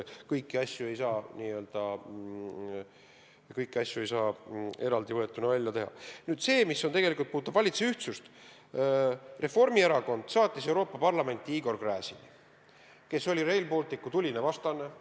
Mis aga puudutab valitsuse ühtsust, siis Reformierakond saatis Euroopa Parlamenti Igor Gräzini, kes oli Rail Balticu tuline vastane.